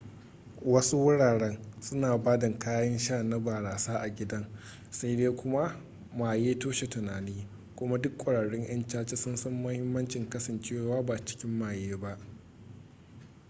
wasu wuraren suna ba da kayan sha na barasa a gidan sai dai kuma maye toshe tunani kuma duk ƙwararrun 'yan caca sun san mahimmancin kasancewa ba cikin maye ba